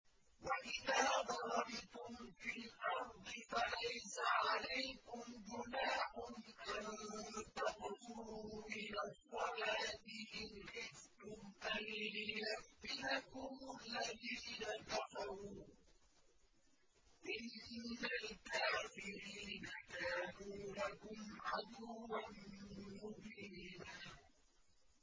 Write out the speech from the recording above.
وَإِذَا ضَرَبْتُمْ فِي الْأَرْضِ فَلَيْسَ عَلَيْكُمْ جُنَاحٌ أَن تَقْصُرُوا مِنَ الصَّلَاةِ إِنْ خِفْتُمْ أَن يَفْتِنَكُمُ الَّذِينَ كَفَرُوا ۚ إِنَّ الْكَافِرِينَ كَانُوا لَكُمْ عَدُوًّا مُّبِينًا